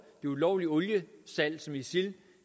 det ulovlige oliesalg som isil